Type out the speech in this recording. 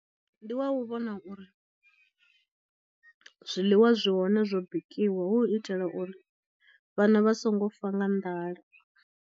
Ndi wa u vhona uri zwiḽiwa zwi hone zwo bikiwa hu u itela uri vhana vha songo fa nga nḓala.